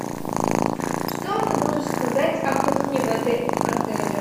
что ты можешь сказать о кухне в этом отеле